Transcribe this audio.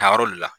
Tayɔrɔ de la